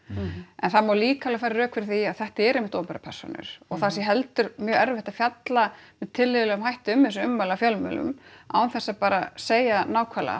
en það má líka alveg færa rök fyrir því að þetta eru einmitt opinberar persónur og það sé heldur mjög erfitt að fjalla með tilhlýðilegum hætti um þessi ummæli af fjölmiðlum án þess að bara segja nákvæmlega